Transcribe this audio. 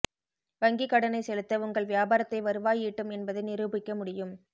வங்கிக் கடனை செலுத்த உங்கள் வியாபாரத்தை வருவாய் ஈட்டும் என்பதை நிரூபிக்க முடியும்